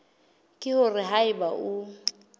ke hore ha eba o